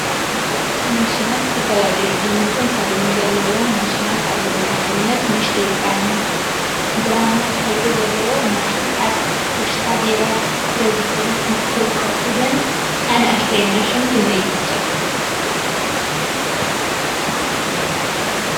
ማሽናት ዝተፈላለዩ ዓይነትን ሕብሪን ዘለዎም ማሽናት አለው፡፡ ንአብነት ንእሽተይ ብራማ ሕብሪ ዘለዋ ማሽን አብ ውሽጣ ቢራ ተዝሕል ትርከብ፡፡ እዘን አናእሽተይ ማሽን ክንደይ ይግዝአ?